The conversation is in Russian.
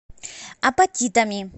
апатитами